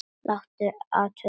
Láta athuga þetta.